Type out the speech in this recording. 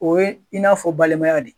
O ye in n'a fɔ balimaya de.